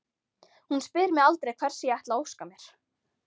Hún spyr mig aldrei hvers ég ætli að óska mér.